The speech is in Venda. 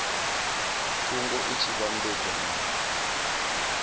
thungo i tshi vhambedzwa na